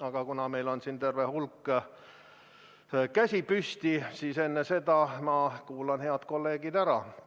Aga kuna meil on siin terve hulk käsi püsti, siis enne seda ma kuulan head kolleegid ära.